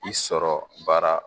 I sɔrɔ baara.